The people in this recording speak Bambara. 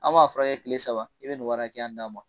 An b'a fura kɛ kile saba i bɛ nin wari hakɛya di an ma.